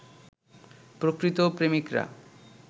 প্রকৃত প্রেমিকরা